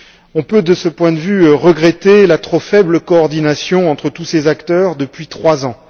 On peut, de ce point de vue, regretter la trop faible coordination entre tous ces acteurs depuis trois ans.